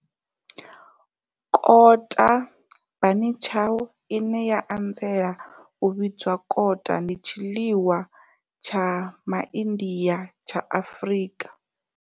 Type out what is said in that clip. Kota, bunny chow, ine ya anzela u vhidzwa kota, ndi tshiḽiwa tsha MaIndia tsha Afrika.